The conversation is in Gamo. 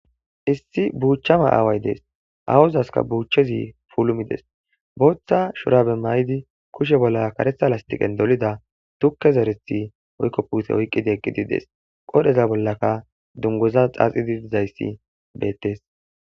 issi buuchchama aaway dees awuzaska buuchchezi pulumides booththa shorabe may7di kushe bolla karetha lastiqen dolida tukke zarethi oykko puuse oyqqida eqqidides qodheza bollaka dungoza xaaxidi dizayssi beettes